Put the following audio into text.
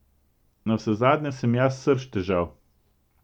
Navsezadnje sem jaz srž težav.